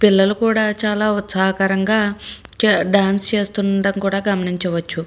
పిల్లు కూడా చాల ఉత్సవంగా డాన్స్ చేస్తుండడం కూడా గమనించివచ్చు.